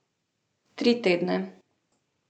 Tri tedne.